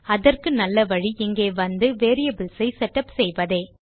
அதற்கு நல்ல வழி இங்கே வந்து வேரியபிள்ஸ் ஐ செட்டப் செய்வதே